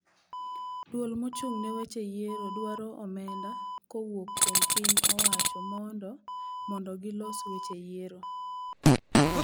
Duol mochung ne weche yiero dwaro omenda kowuok kuom pi ny owacho mondo mondo gilos weche yiero.